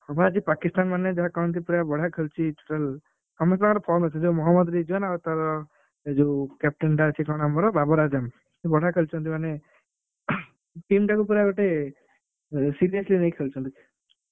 ହଁ ବା ଆଜି ପାକିସ୍ତାନ ମାନେ ଯାହା କହନ୍ତି ପୁରା ବଢିଆ ଖେଳୁଛି total ଅଛି ଯୋଉ ମହମ୍ମଦ ରେଜୱାନ ଆଉ ତାର ଯୋଉ captain ଟା ଅଛି କଣ ଆମର ବାବର ଆଯାମ ସିଏ ବଢିଆ ଖେଳୁଛନ୍ତି ମାନେ team ଟାକୁ ପୁରା ଗୋଟେ seriously ନେଇ ଖେଳୁଛନ୍ତି।